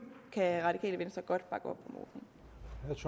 kan radikale venstre godt bakke op